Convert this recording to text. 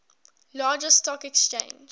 largest stock exchange